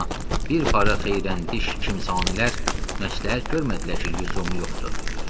Amma bir para xeyrəndiş kimsanələr məsləhət görmədilər ki, lüzumu yoxdur.